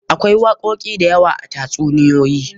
Akwai wakoki da yawa a tatsuniyoyi.